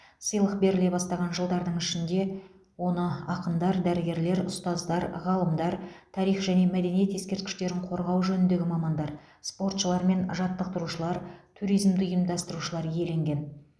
сыйлық беріле бастаған жылдардың ішінде оны ақындар дәрігерлер ұстаздар ғалымдар тарих және мәдениет ескерткіштерін қорғау жөніндегі мамандар спортшылар мен жаттықтырушылар туризмді ұйымдастырушылар иеленген